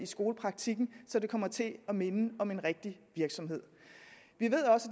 skolepraktikken så det kom til at minde om en rigtig virksomhed